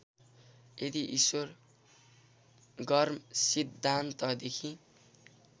यदि ईश्वर गर्मसिद्धान्तदेखि